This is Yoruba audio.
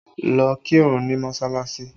Lọ kírun ní mọsalasi!